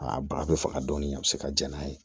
Aa baga be faga dɔɔni a be se ka ja n'a ye